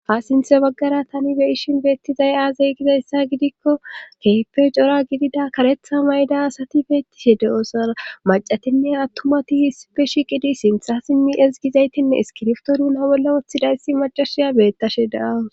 Ha sinthe baggara tani be ishin beettizay aazay gizayssa gidikko keeppe cora gidida karetha mayda asati beettishe de'osa macatinne attumati hisipe shi qidi sintha si mi es gizaytinne iskirftoru na bolla woththidayssi macashiya beettashe da'awu.